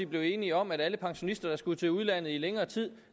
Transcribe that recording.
blev enige om at alle pensionister der skulle til udlandet i længere tid